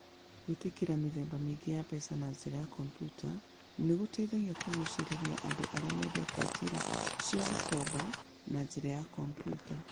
Gwĩtĩkĩra mĩthemba mĩingĩ ya mbeca na njĩra ya kompiuta nĩ gũgũteithagia kũgucĩrĩria andũ arĩa mendete njĩra cia gũkomba na njĩra ya kompiuta.